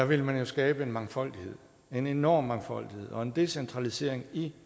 vil man jo skabe en mangfoldighed en enorm mangfoldighed og en decentralisering i